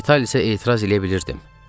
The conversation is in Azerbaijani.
Vitalisə etiraz eləyə bilirdim.